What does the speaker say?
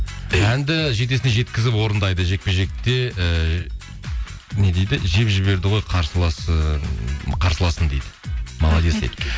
әнді жетесіне жеткізіп орындайды жекпе жекте і не дейді жеп жіберді ғой қарсыласын дейді молодец дейді